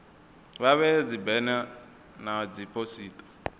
vha vhee dzibena na dziphosita